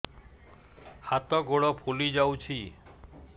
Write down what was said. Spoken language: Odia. ହାତ ଗୋଡ଼ ଫୁଲି ଯାଉଛି